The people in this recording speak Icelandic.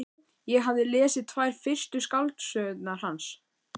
Ég hafði lesið tvær fyrstu skáldsögurnar hans.